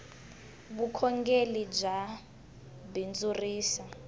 vukhongeli bya bindzurisa